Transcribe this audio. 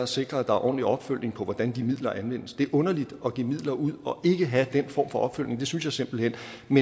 sikre at der er ordentlig opfølgning på hvordan de midler anvendes det er underligt at give midler ud og ikke have den form for opfølgning det synes jeg simpelt hen